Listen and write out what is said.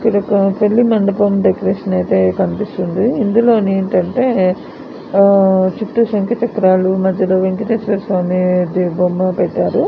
ఇది ఒక పెళ్లి మండపం డెకొరేషన్ ఐతే కనిపిస్తుంది. ఇందులో ఏంటంటే చుట్టూ శంకు చక్రాలు మధ్యలో వెంకటేశ్వర స్వామి డిజైన్ బొమ్మ వేశారు.